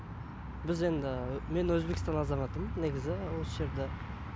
біз енді мен өзбекстан азаматымын негізі осы жерде